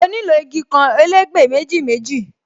Mo nílò igi kan, elegbe méjì méjì